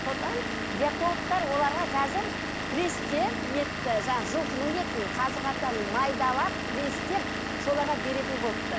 содан диетологтар оларға қазір пресстеп етті жаңағы жылқының етін қазы қартаны майдалап пресстеп соларға беретін болыпты